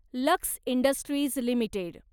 lux industries limited